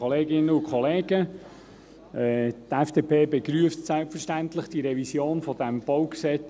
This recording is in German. Die FDP begrüsst selbstverständlich die Revision dieses BauG auch.